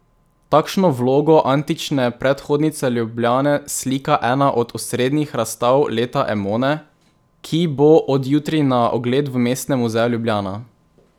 Takšno vlogo antične predhodnice Ljubljane slika ena od osrednjih razstav leta Emone, ki bo od jutri na ogled v Mestnem muzeju Ljubljana.